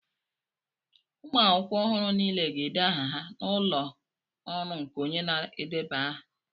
ụmụ akwụkwọ ọhụrụ niile ga-ede aha ha n'ụlọ ọrụ nke onye na-edeba aha